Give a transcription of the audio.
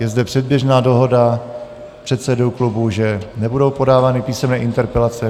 Je zde předběžná dohoda předsedů klubů, že nebudou podávány písemné (?) interpelace.